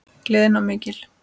Gleðin var mikil.